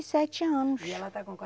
sete anos. E ela está com